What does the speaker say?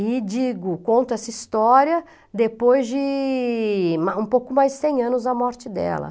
E digo, conto essa história depois de um pouco mais de cem anos da morte dela.